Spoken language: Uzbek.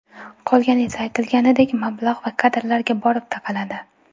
Qolgani esa aytilganidek mablag‘ va kadrlarga borib taqaladi.